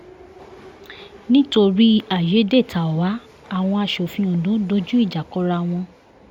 nítorí àyédètàwá àwọn asòfin ondo dojú ìjà kọra wọn